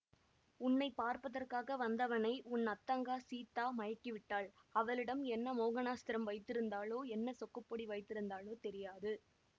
உன்னை பார்ப்பதற்காக வந்தவனை உன் அத்தங்கா சீதா மயக்கிவிட்டாள் அவளிடம் என்ன மோகனாஸ்திரம் வைத்திருந்தாளோ என்ன சொக்குப்பொடி வைத்திருந் தாளோ தெரியாது